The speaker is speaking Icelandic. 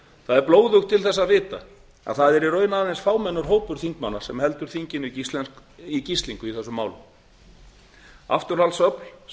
það er blóðugt til þess að vita að það er í raun aðeins fámennur hópur þingmanna sem heldur þinginu í gíslingu í þessum málum afturhaldsöfl sem